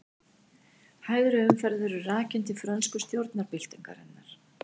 Hægri umferð verður rakin til frönsku stjórnarbyltingarinnar.